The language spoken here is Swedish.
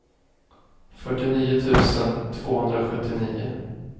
fyrtionio tusen tvåhundrasjuttionio